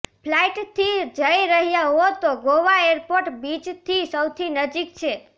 ફ્લાઇટથી જઇ રહ્યા હો તો ગોવા એરપોર્ટ બીચથી સૌથી નજીક છે